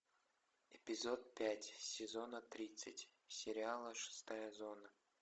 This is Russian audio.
эпизод пять сезона тридцать сериала шестая зона